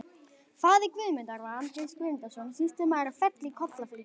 Faðir Guðmundar var Andrés Guðmundsson, sýslumaður á Felli í Kollafirði.